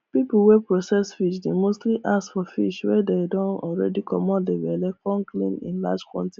people wey process fish dey mostly ask for fish wey dey don already commot the belle com clean in large quanti